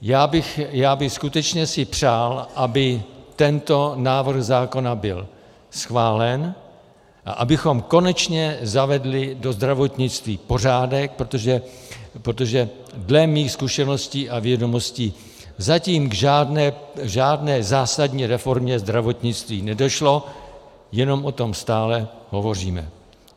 Já bych skutečně si přál, aby tento návrh zákona byl schválen a abychom konečně zavedli do zdravotnictví pořádek, protože dle mých zkušeností a vědomostí zatím k žádné zásadní reformě zdravotnictví nedošlo, jenom o tom stále hovoříme.